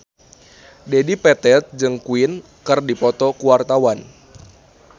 Dedi Petet jeung Queen keur dipoto ku wartawan